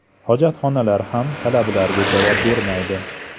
Hojatxonalar ham talablarga javob bermaydi”.